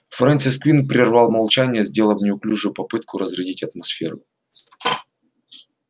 фрэнсис куинн прервал молчание сделав неуклюжую попытку разрядить атмосферу